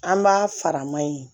An b'a fara ma ye